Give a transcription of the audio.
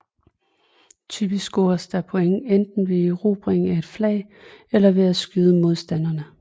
Typisk scores der point enten ved erobring af et flag eller ved at skyde modstanderne